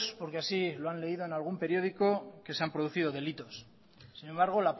porque así lo han leído en algún periódico que se han producido delitos sin embargo